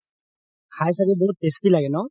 খাই ছাগে বহুত tasty লাগে ন